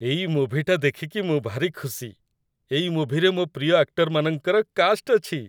ଏଇ ମୁଭିଟା ଦେଖିକି ମୁଁ ଭାରି ଖୁସି । ଏଇ ମୁଭିରେ ମୋ' ପ୍ରିୟ ଆକ୍ଟରମାନଙ୍କର କାଷ୍ଟ୍ ଅଛି ।